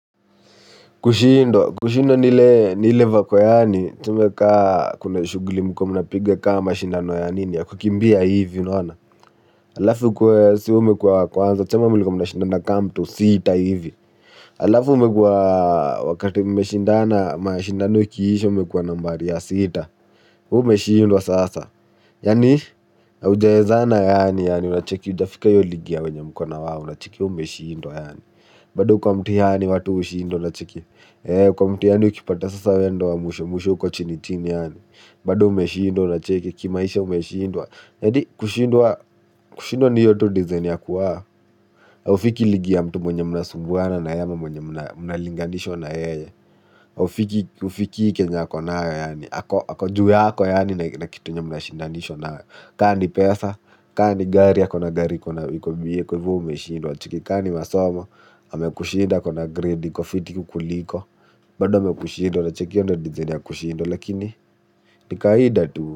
Kushinda, kushinda ni ile vako yaani, tuseme ka kuna shughuli mlikuwa mnapiga ka mashindano ya nini, ya kukimbia hivi, unaona? Halafu ukuwe, sa umekuwa wa kwanza, tuseme mlikuwa mnashindana kama mtu sita hivi. Alafu umekuwa, wakati mmeshindana, mashindano ikiisha umekuwa nambari ya sita, wewe umeshindwa sasa. Yaani, haujawezana yaani yaani, hujafika hiyo ligi ya wenye mko na wao, unacheki, wewe umeshindwa yaani. Bado kwa mtihani watu hushindwa unacheki. Eee, kwa mtiani ukipata sasa we ndo wa mwisho mwisho uko chini chini yaani. Bado umeshindwa unacheki, kimaisha umeshindwa. Eti, kushindwa, kushindwa ni hiyo tu design ya kuwa. Haufiki ligi ya mtu mwenye mnasumbuana na yeye ama mwenye mnalinganishwa na yeye. Hufiki, hufikii kenye ako nayo yaani, ako, ako juy yako yaani na kitu yenye mnashindanishwa nayo. Ka ni pesa, ka ni gari ako na gari iko na iko ba kwa hivo wewe umeshindwa unacheki. Ka ni masomo amekushinda ako na grade iko fiti kukuliko, bado amekushinda unacheki? Hiyo ndo design ya kushindwa lakini, ni kawaida tu.